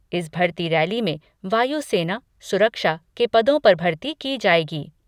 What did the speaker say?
इस भर्ती रैली में वायु सेना, सुरक्षा के पदों पर भर्ती की जाएगी।